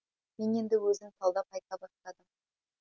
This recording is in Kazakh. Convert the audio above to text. мен енді өзім талдап айта бастадым